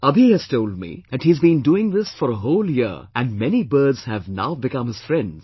Abhi has told me that he has been doing this for a whole year and many birds have now become his friends